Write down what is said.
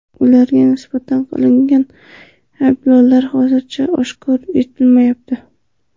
Ularga nisbatan e’lon qilingan ayblovlar hozircha oshkor etilmayapti.